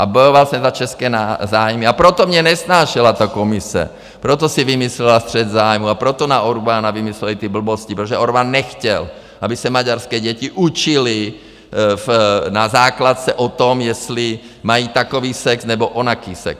A bojoval jsem za české zájmy a proto mě nesnášela ta komise, proto si vymyslela střet zájmu a proto na Orbánu vymysleli ty blbosti, protože Orbán nechtěl, aby se maďarské děti učily na základce o tom, jestli mají takový sex nebo onaký sex.